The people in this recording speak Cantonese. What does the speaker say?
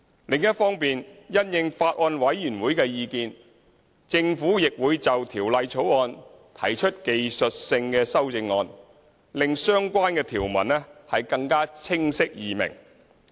另一方面，因應法案委員會的意見，政府亦會就《條例草案》提出技術性修正案，令相關條文更加清晰易明。